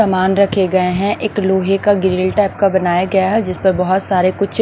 सामान रखे गए हैं एक लोहे का ग्रिल टाइप का बनाया गया है जिस पर बहुत सारे कुछ--